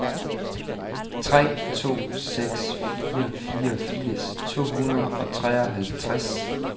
tre to seks fire fireogfirs to hundrede og treoghalvtreds